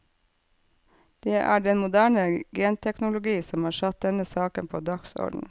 Det er den moderne genteknologi som har satt denne saken på dagsordenen.